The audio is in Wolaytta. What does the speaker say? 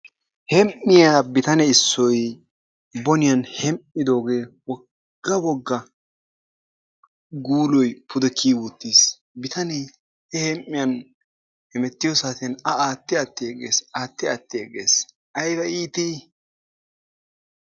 Hem''iyaa bitane issoy boniyaan hem''idooge wogga wogga guuloy pude kiyi uttiis, bitanee he hem''iyaan I hemettiyo saatiyaan A aatti aatti yegees. aatti aati yeeggees aybba iitti!